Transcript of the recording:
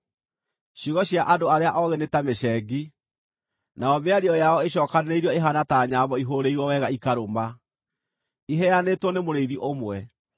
Ciugo cia andũ arĩa oogĩ nĩ ta mĩcengi, nayo mĩario yao ĩcookanĩrĩirio ĩhaana ta nyambo ihũũrĩirwo wega ikarũma, iheanĩtwo nĩ Mũrĩithi ũmwe.